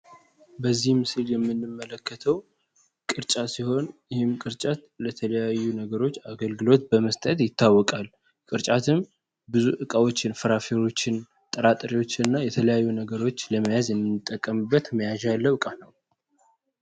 በዚህም ምስል የምንመለከተው ቅርጫት ሲሆን ይህም ቅርጫት ለተለያዩ ነገሮች አገልግሎት በመስጠት ይታወቃል፡፡ ቅርጫትም ብዙ ዕቃዎችን ፍራፍሬዎችን ጥራጥሬዎች እና የተለያዩ ነገሮች ለመያዝ የምንጠቀምበት መያዣ ያለው ለ ዕቃ ነው።